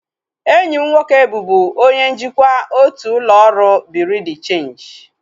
Enyi m nwoke bụbu onye njikwa otu ụlọ ọrụ bureau de cheenji